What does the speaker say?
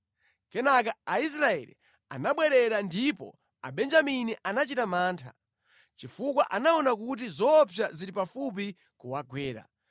Kenaka Aisraeli anabwerera ndipo Abenjamini anachita mantha, chifukwa anaona kuti zoopsa zili pafupi kuwagwera.